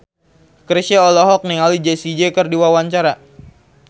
Chrisye olohok ningali Jessie J keur diwawancara